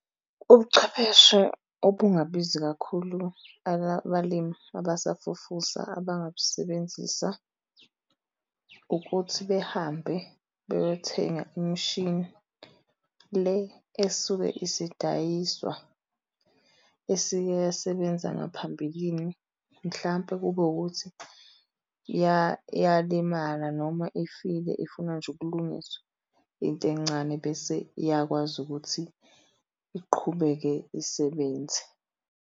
Ubuchwepheshe obungabizi kakhulu balabalimi abasafufusa abangabusebenzisa ukuthi behambe beyothenga imishini le esuke isidayiswa, esikeyasebenza ngaphambilini. Mhlampe kube ukuthi yalimala noma ifile ifuna nje ukulungiswa into encane bese iyakwazi ukuthi iqhubeke isebenze.